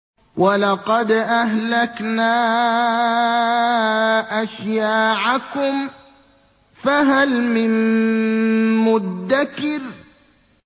وَلَقَدْ أَهْلَكْنَا أَشْيَاعَكُمْ فَهَلْ مِن مُّدَّكِرٍ